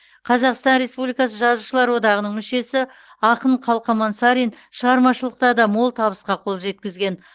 қазақстан республикасы жазушылар одағының мүшесі ақын қалқаман сарин шығармашылықта да мол табысқа қол жеткізген